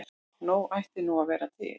Nóg ætti nú að vera til.